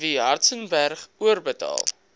w hartzenberg oorbetaal